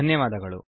ಧನ್ಯವಾದಗಳು